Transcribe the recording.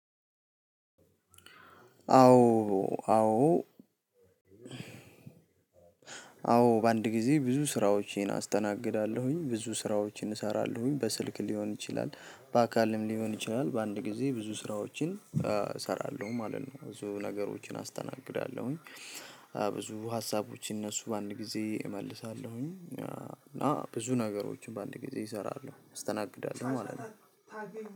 አዎ አዎ። አዎ በአንድ ጊዜ ብዙ ስራዎቼን አስተናግዳለሁኝ ብዙ ስራዎቼን እሰራለሁኝ በስልክ ሊሆን ይችላል በአካልም ሊሆን ይችላል በአንድ ጊዜ ብዙ ስራዎችን እሰራለሁ ማለት ነው። ብዙ ነገሮችን አስተናግዳለሁኝ። ብዙ ሀሳቦች እነሱ በአንድ ጊዜ እመልሳለሁኝ እና ብዙ ነገሮችን በአንድ ጊዜ እሰራለሁ አስተናግዳለሁ ማለት ነው።